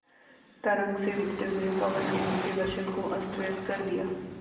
तरंग से उठते हुए पवन ने उनके वसन को अस्तव्यस्त कर दिया